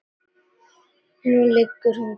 Núna liggur hún kyrr.